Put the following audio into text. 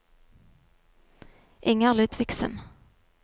Inger Ludvigsen